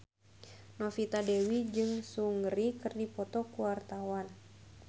Novita Dewi jeung Seungri keur dipoto ku wartawan